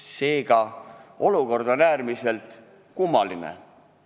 Seega on olukord äärmiselt kummaline.